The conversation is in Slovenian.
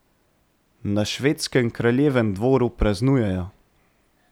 Na švedskem kraljevem dvoru praznujejo.